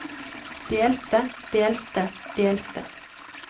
delte delte delte